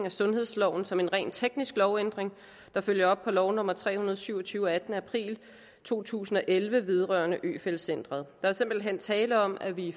af sundhedsloven som en rent teknisk lovændring der følger op på lov nummer tre hundrede og syv og tyve af attende april to tusind og elleve vedrørende øfeldt centret der er simpelt hen tale om at vi